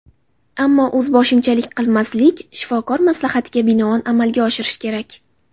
Ammo o‘zboshimchalik qilmaslik, shifokor maslahatiga binoan amalga oshirish kerak.